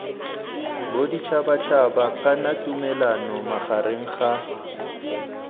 boditšhabatšhaba kana tumalano magareng ga